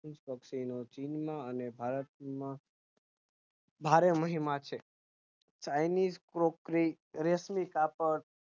fish પક્ષી નું ચિન અને ભારત માં ધારવણી માં છે chinesse cookery રેશમી કાપડ હસ્તકલા ની ચીજો તથા પડી જ હોય